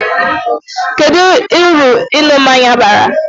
Kedu uru ịṅụ mmanya bara?